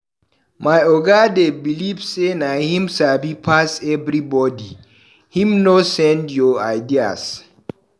My oga dey beliv sey na him sabi pass everybodi, him no send your ideas.